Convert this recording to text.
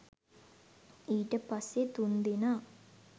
ඊට පස්සෙ තුන්දෙනා